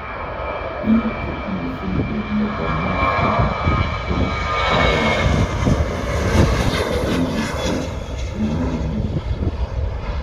Biik chetinye syndrome nebo marfan ko koeen, terter ak joindisiek chenyelnyel